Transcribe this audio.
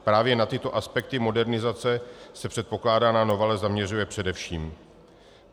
Právě na tyto aspekty modernizace se předkládaná novela zaměřuje především.